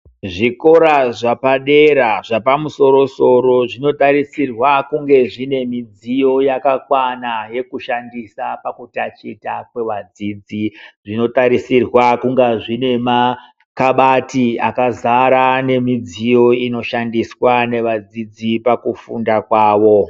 Zvikora zvapadera zvapamusoro-soro zvinotarisirwa kunge zvine midziyo yakakwana yekushandisa pakutaticha kwevadzidzi. Zvinotarisirwa kunga zvine makabati akazara nemidziyo ino inoshandiswa nevadzidzi pakufunda kwawo.